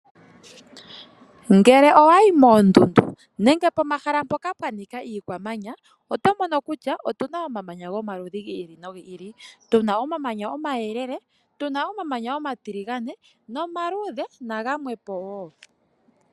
Ngele owa yi moondundu nenge pomahala mpoka pwa nika iikwamanya, oto mono kutya otu na omamanya gomaludhi gi ili nogi ili. Tu na omamanya ngoka omayelele, omatiligane ,omaluudhe, nagamwe po wo.